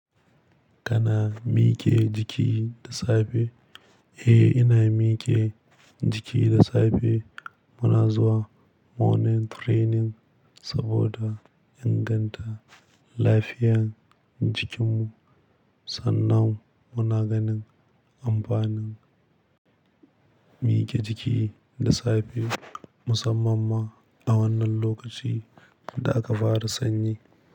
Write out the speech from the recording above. Kana miƙe jiki da safe? Eh, ina miƙe jiki da safe. Muna zuwa morning training saboda inganta lafiyar jikinmu. Sannan muna ganin amfanin miƙe jiki da safe musamman ma, a wannan lokacin da aka fara sanyi.